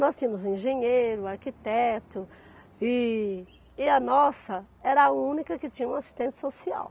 Nós tínhamos um engenheiro, arquiteto e e a nossa era a única que tinha uma assistente social.